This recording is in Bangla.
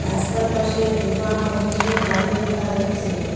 রাস্তার পাশে দোকান ও কিছু বাড়ি দেখা যাচ্ছে।